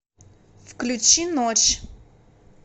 включи ночь